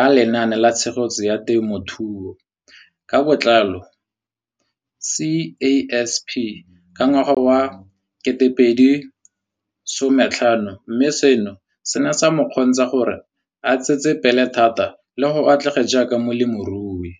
a Lenaane la Tshegetso ya Te mothuo ka Botlalo, CASP] ka ngwaga wa 2015, mme seno se ne sa mo kgontsha gore a tsetsepele thata le go atlega jaaka molemirui.